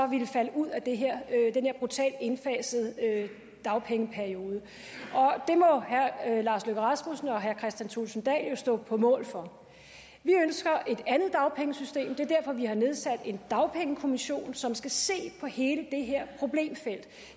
ville falde ud af den her brutalt indfasede dagpengeperiode og det må herre lars løkke rasmussen og herre kristian thulesen dahl jo stå på mål for vi ønsker et andet dagpengesystem og er derfor vi har nedsat en dagpengekommission som skal se på hele det her problemfelt